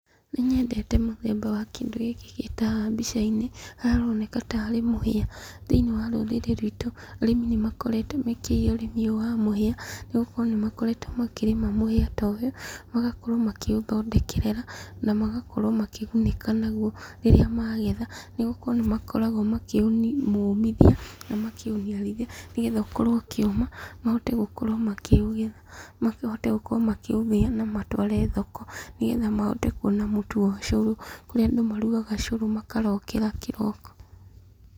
Nĩnyendete mũthemba wa kĩndũ gĩkĩ gĩ ta haha mbica-inĩ, haria haroneka tarĩ mũhĩa. Thĩiniĩ wa rũrĩrĩ rwitũ, arĩmi nĩ makoretwo mekĩrĩĩre ũrĩmi ũyũ wa mũhĩa, nĩ gukorwo nĩ makoretwo makĩrĩma mũhĩa ta ũyũ, magakorwo makĩũthondekerera , na magakorwo makĩgunĩka naguo rĩrĩa magetha, nĩgũkorwo nĩmakoragwo makĩmumĩthia na makĩũniarithia, nĩgetha ũkorwo ũkĩũma, mahote gũkorwo makĩũgetha, mahote gũkorwo makĩũthĩa na matware thoko. Mahote kuona mũtu wa ũcũrũ, kũrĩa ndũ marugaga cũrũ makarokera kĩroko.